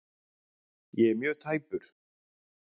Ég er mjög tæpur.